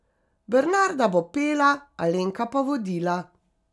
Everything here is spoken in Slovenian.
Bernarda bo pela, Alenka pa vodila.